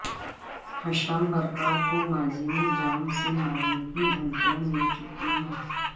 ہشام Barakat کو ماضی میں جان سے مارنے کی دھملیاں مل چکی ہیں